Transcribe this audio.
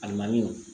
Alimami